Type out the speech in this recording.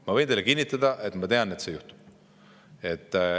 Ma võin teile kinnitada: ma tean, et see juhtub.